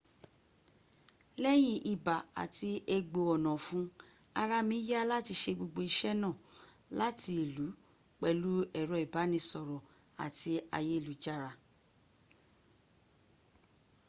leyin iba ati egbo onafun araa mi ya lati se gbogbo ise naa lati ilu pelu ero ibanisoro ati ayelujara